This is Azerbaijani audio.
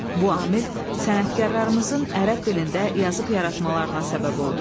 Bu amil sənətkarlarımızın ərəb dilində yazıb-yaratmalarına səbəb oldu.